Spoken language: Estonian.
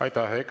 Aitäh!